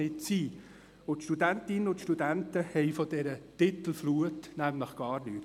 Die Studentinnen und Studenten haben von dieser Titelflut gar nichts.